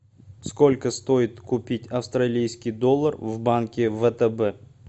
сколько стоит купить австралийский доллар в банке втб